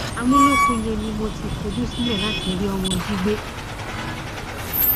àmúlòkọ yẹn ni mo ti fojú sílẹ láti rí ọmọ jí gbé